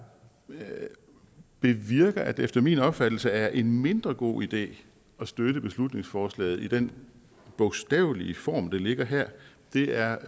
bevirker at det efter min opfattelse er en mindre god idé at støtte beslutningsforslaget i den bogstavelige form der ligger her er